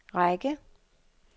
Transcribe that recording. række